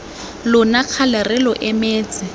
lona kgale re lo emetse